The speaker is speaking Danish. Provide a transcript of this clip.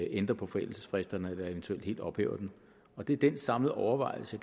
ændrer på forældelsesfristerne eller eventuelt helt ophæver dem det er den samlede overvejelse